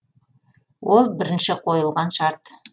ол бірінші қойылған шарт